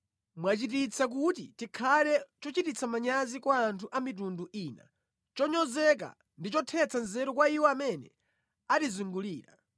Mwachititsa kuti tikhale chochititsa manyazi kwa anthu a mitundu ina, chonyozeka ndi chothetsa nzeru kwa iwo amene atizungulira.